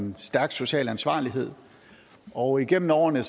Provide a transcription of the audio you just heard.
en stærk social ansvarlighed og igennem årene